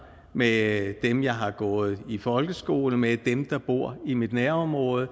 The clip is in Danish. med dem jeg har gået i folkeskole med dem der bor i mit nærområde